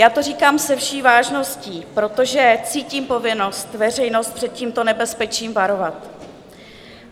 Já to říkám se vší vážností, protože cítím povinnost veřejnost před tímto nebezpečím varovat.